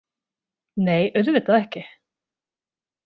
Nei, auðvitað ekki.